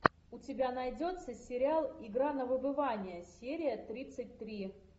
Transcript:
у тебя найдется сериал игра на выбывание серия тридцать три